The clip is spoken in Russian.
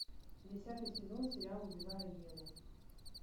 десятый сезон сериала убивая еву